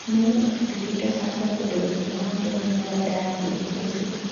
Nuno Espirito Santo okwedo weche mawacho ni onyalo dar dhi e Chelsea